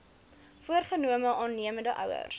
voorgenome aannemende ouers